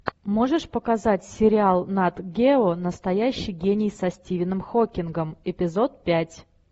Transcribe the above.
можешь показать сериал нат гео настоящий гений со стивеном хокингом эпизод пять